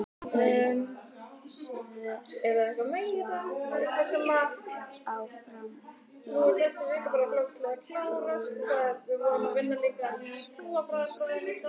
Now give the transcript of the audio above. Þau sváfu áfram í sama rúmi en elskuðust ekki.